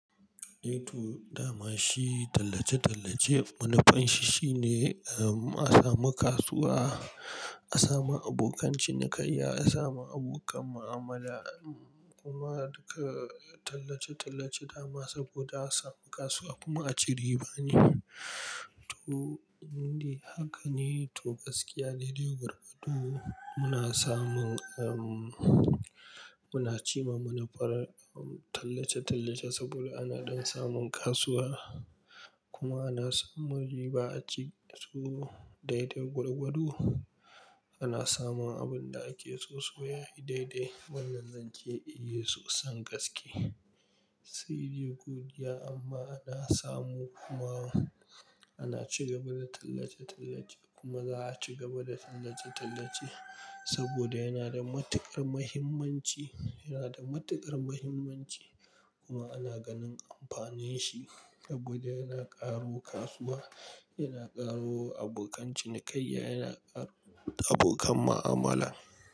Eh to dama shi tallace-tallace wani fashi shine, um, a samu kasuwa, a samu abokan cinikayya, a samu abokan mu'amala kuma duka tallace-tallace dama saboda a samu kasuwa kuma a ci riba ne. To, ni haka ne to gaskiya daidai gwargwado muna samun, um, muna ci ma munafara tallace-tallace saboda ana don samun kasuwa kuma ana samun riba a ciki. To, daidai gwargwado ana samun abin da ake so sosai yayi daidai wannan zance eh soson gaske. Saidai god iya amma ana samu kuma ana ci gaba da tallace-tallace kuma za a ci gaba da tallace-tallace saboda yana da matuƙar mahimmanci, yana da matuƙar mahimmanci kuma ana ganin amfanin shi saboda yana ƙaro kasuwa, yana ƙaro abokan cinikayya, yana ƙaro abokan mu'amala.